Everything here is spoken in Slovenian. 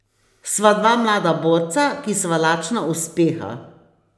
Sva dva mlada borca, ki sva lačna uspeha.